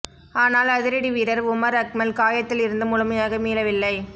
ஆனால் அதிரடி வீரர் உமர் அக்மல் காயத்தில் இருந்து முழுமையாக மீளவில்லை